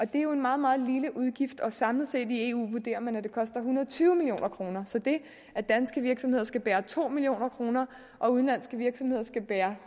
det er jo en meget meget lille udgift samlet set i eu vurderer man at det koster en hundrede og tyve million kr så det at danske virksomheder skal bære to million kr og at udenlandske virksomheder skal bære